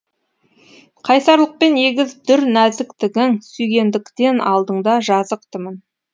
қайсарлықпен егіз дүр нәзіктігің сүйгендіктен алдыңда жазықтымын